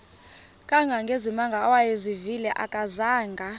kangangezimanga awayezivile akazanga